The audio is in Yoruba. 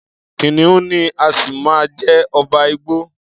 Kìnìún ni á ṣì máa jẹ́ ọba igbó.